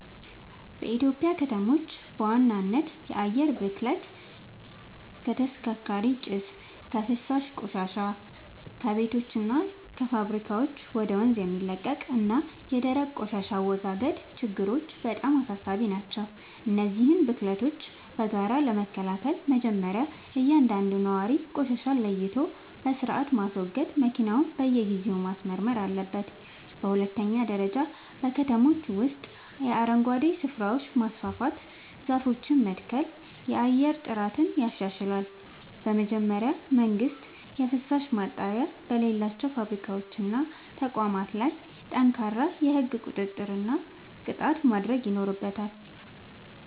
በኢትዮጵያ ከተሞች በዋናነት የአየር ብክለት (ከተሽከርካሪዎች ጭስ)፣ የፍሳሽ ቆሻሻ (ከቤቶችና ከፋብሪካዎች ወደ ወንዝ የሚለቀቅ) እና የደረቅ ቆሻሻ አወጋገድ ችግሮች በጣም አሳሳቢ ናቸው። እነዚህን ብክለቶች በጋራ ለመከላከል መጀመርያ እያንዳንዱ ነዋሪ ቆሻሻን ለይቶ በሥርዓት ማስወገድና መኪናውን በየጊዜው ማስመርመር አለበት። በሁለተኛ ደረጃ በከተሞች ውስጥ የአረንጓዴ ስፍራዎችን ማስፋፋትና ዛፎችን መትከል የአየር ጥራትን ያሻሽላል። በመጨረሻም መንግሥት የፍሳሽ ማጣሪያ በሌላቸው ፋብሪካዎችና ተቋማት ላይ ጠንካራ የሕግ ቁጥጥርና ቅጣት ማድረግ ይኖርበታል።